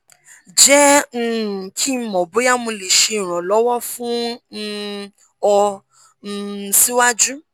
jẹ um ki n mọ boya mo le ṣe iranlọwọ fun um ọ um siwaju